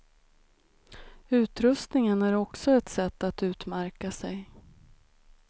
Utrustningen är också ett sätt att utmärka sig.